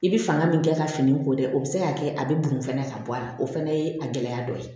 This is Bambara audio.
I bi fanga min kɛ ka fini ko dɛ o be se ka kɛ a be bɔn fɛnɛ ka bɔ a la o fɛnɛ ye a gɛlɛya dɔ ye